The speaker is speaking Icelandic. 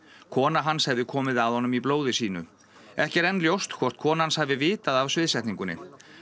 kona hans hefði komið að honum í blóði sínu ekki er enn ljóst hvort kona hans hafi vitað af sviðsetningunni